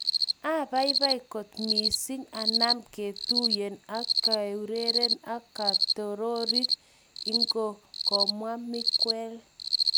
Abaibai kot missing anam ketuyen ag keureren ag kotiorik igo komwa Miguel.